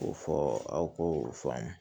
K'o fɔ aw ko o faamu